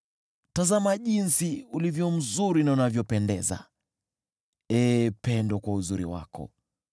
Tazama jinsi ulivyo mzuri na unavyopendeza, ee pendo, kwa uzuri wako!